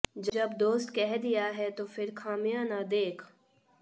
जब दोस्त कह दिया है तो फिर खामियां न देख